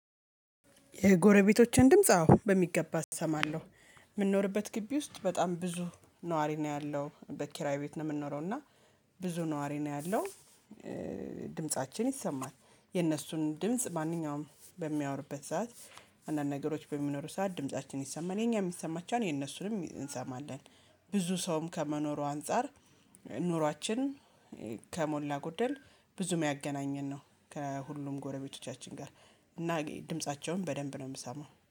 የጎረቤቶችን ድምጽ አዎ በሚገባ እሰማለሁ። ምንኖርበት ግቢ ውስጥ በጣም ብዙ ነዋሪ ነው ያለው በኪራይ ቤት ነው የምንኖረው እና። ብዙ ነዋሪ ነው ያለው እ ድምፃችን ይሰማል። የነሱን ድምጽ ማንኛውም በሚያወሩበት ሰዓት አንዳንድ ነገሮች በሚኖሩ ሰዓት ድምፃችን ይሰማል የኛም ይሰማቸዋን የነሱንም እ እንሰማለን። ብዙ ሰውም ከመኖሩ አንፃር። ኑሯችን እ ከሞላ ጎደል ብዙም ያገናኘን ነው ከሁሉም ጎረቤቶቻችን ጋር። እና ድምፃቸውን በደንብ ነው ምሰማው